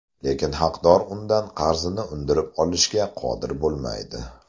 Lekin haqdor undan qarzini undirib olishga qodir bo‘lmaydi.